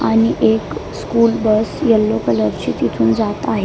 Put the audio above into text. आणि एक school bus yellow colour ची तिथून जात आहे.